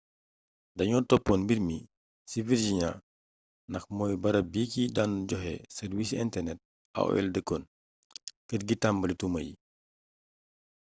dañoo toppoon mbir mi ci virginia ndax mooy barab bi ki daan joxe sarwiisi internet aol dëkkoon kër gi tambali tuuma yi